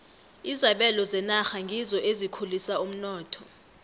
izabelo zenarha ngizo ezikhulisa umnotho